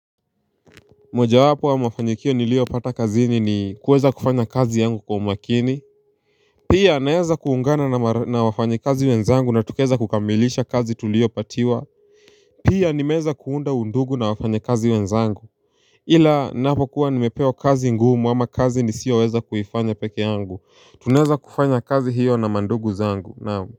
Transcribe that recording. Moja wapo ya mafanyikio niliopata kazi ni kuweza kufanya kazi yangu kwa umakini. Pia naeza kuungana na wafanyi kazi wenzangu na tukaeza kukamilisha kazi tuliopatiwa. Pia nimeeza kuunda undugu na wafanyi kazi wenzangu. Ila napokuwa nimepewa kazi ngumu ama kazi nisiyoweza kuifanya peke yangu tunaeza kufanya kazi hiyo na mandugu zangu naam.